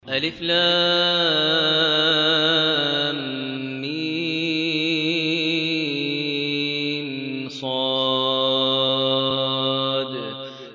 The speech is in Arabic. المص